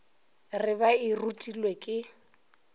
re ba e rutilwe ke